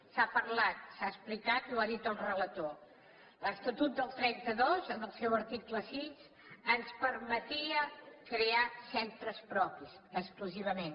s’ha parlat s’ha explicat i ho ha dit el relator l’estatut del trenta dos en el seu article sis ens permetia crear centres propis exclusivament